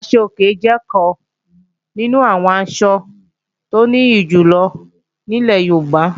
Aṣọ-òkè jẹ́ ọ̀kan nínú àwọn asọ tó nìyí jù lọ ní ilẹ̀ Yorùbá